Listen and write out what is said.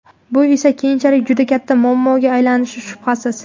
Bu esa keyinchalik juda katta muammoga aylanishi shubhasiz.